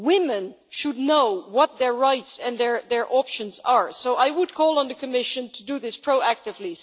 Women should know what their rights and their options are, so I would call on the Commission to do this proactively.